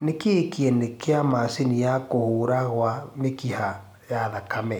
nĩ kĩĩ kiene kia macĩnĩ ya kũhura gwa mĩkiha ya thakame